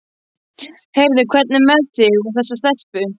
Heyrðu, hvernig er með þig og þessa stelpu?